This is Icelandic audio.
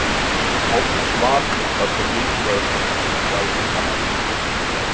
Hátt svarhlutfall er mikilvægur þáttur í gæðum kannana.